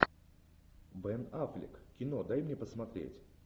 бен аффлек кино дай мне посмотреть